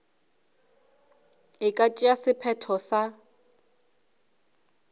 e ka tšea sephetho sa